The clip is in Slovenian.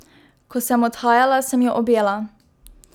Ko sem odhajala, sem jo objela.